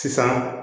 Sisan